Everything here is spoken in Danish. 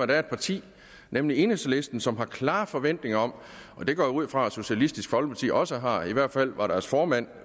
der er et parti nemlig enhedslisten som har klare forventninger om det går jeg ud fra at socialistisk folkeparti også har i hvert fald var deres formand